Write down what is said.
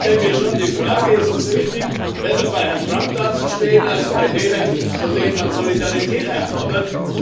Ich stelle mir schon die Frage Ist es richtig, besser bei Herrn Trump dazustehen als bei denen, von denen man Solidarität einfordert?